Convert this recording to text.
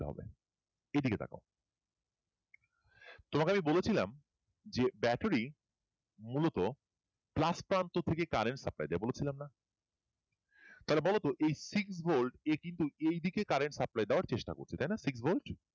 তোমাকে আমি বলেছিলাম যে ব্যাটারি ্মূলত plus প্রান্ত থেকে current supply দেয় বলেছিলাম না তাহলে বল তো এই সিক ভোল্ট এর কিন্তু এই দিকে current supply দেওয়ার চেষ্টা করছে তাই না সিক ভোল্ট